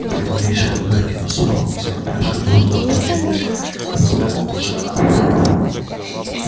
при малейшем намёке на ссору вся упряжка дружно ополчилась на своего вожака